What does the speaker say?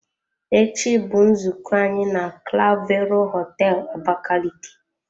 Echi bụ nzukọ anyị na clavero hoteelu Abakaliki.